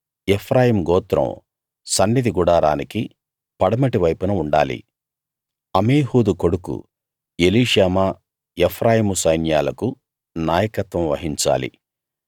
ఎఫ్రాయిము గోత్రం సన్నిధి గుడారానికి పడమటి వైపున ఉండాలి అమీహూదు కొడుకు ఎలీషామా ఎఫ్రాయిము సైన్యాలకు నాయకత్వం వహించాలి